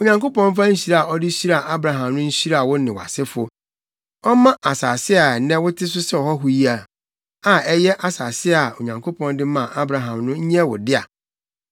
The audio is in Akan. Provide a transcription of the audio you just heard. Onyankopɔn mfa nhyira a ɔde hyiraa Abraham no nhyira wo ne wʼasefo. Ɔmma asase a nnɛ wote so sɛ ɔhɔho yi, a ɛyɛ asase a Onyankopɔn de maa Abraham no nyɛ wo dea.”